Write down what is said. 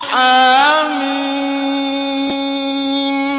حم